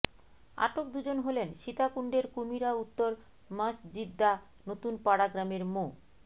আটক দুজন হলেন সীতাকুণ্ডের কুমিরা উত্তর মসজিদ্দা নতুন পাড়া গ্রামের মো